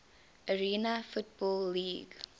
arena football league